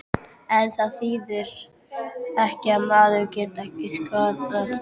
En það þýðir ekki að maðurinn geti ekki skaðað mig.